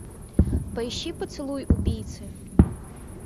поищи поцелуй убийцы